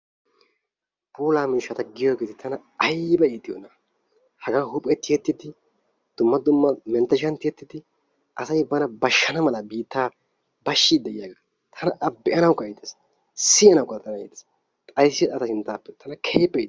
Puulaa miishshata giyoogeeti tana aybba iittiyoonaa? Haagaa huuphiyaa tiyettidi, dumma dumma mentershshan tiyettidi asay laa bana bashshana mala biittaa bashshiidid tana a be'anawukka iitees, siyanawukka iitees, xayssite ta sintaappe keehippe